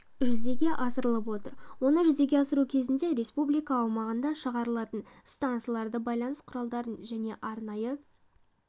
жүзеге асырылып отыр оны жүзеге асыру кезінде республика аумағында шығарылатын стансаларды байланыс құралдары және арнайы